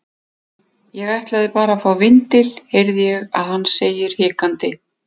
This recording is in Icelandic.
Ég ætlaði bara að fá vindil, heyri ég að hann segir hikandi.